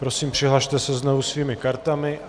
Prosím, přihlaste se znovu svými kartami.